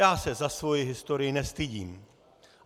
Já se za svoji historii nestydím.